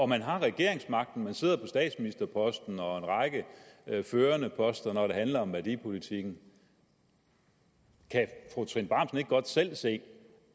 man har regeringsmagten man sidder på statsministerposten og en række førende poster når det handler om værdipolitikken kan fru trine bramsen ikke godt selv se